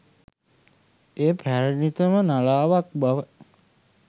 එය පැරණිතම නලාවක් බව